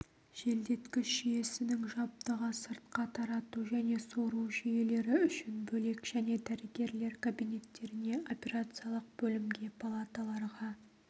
желдеткіш жүйесінің жабдығы сыртқа тарату және сору жүйелері үшін бөлек және дәрігерлер кабинеттеріне операциялық бөлімге палаталарға